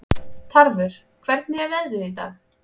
Tarfur, hvernig er veðrið í dag?